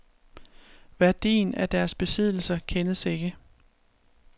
Værdien af deres besiddelser kendes ikke.